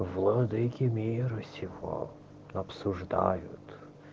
владыки мира сего обсуждают